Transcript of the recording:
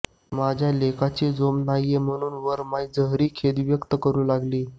माझ्या लेकाचं जोम न्हाई म्हणुन वरमाय जहरी खेद व्यक्त करु लागली